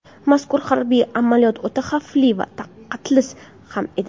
Mazkur harbiy amaliyot o‘ta xavfli va qaltis ham edi.